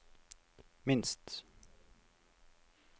minst